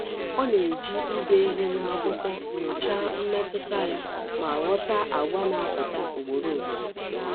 Ọ na-eji ide ihe n’akwụkwọ nyochaa mmetụta ya ma ghọta àgwà na-apụta ugboro ugboro.